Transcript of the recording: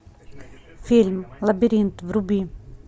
фильм лабиринт вруби